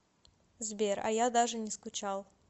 сбер а я даже не скучал